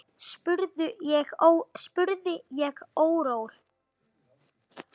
spurði ég órór.